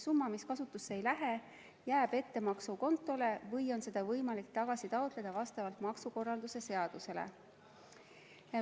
Summa, mis kasutusse ei lähe, jääb ettemaksukontole või on seda võimalik tagasi taotleda vastavalt maksukorralduse seadusele.